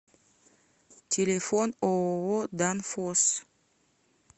телефон ооо данфосс